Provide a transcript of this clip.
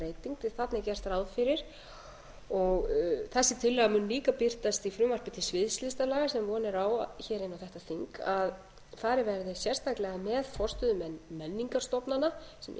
að þarna er gert ráð fyrir og þessi tillaga mun líka birtast í frumvarpi til sviðslistarlaga sem von er á hér inn á þetta þing að farið verði sérstaklega með forstöðumenn menningarstofnana sem eru í raun og veru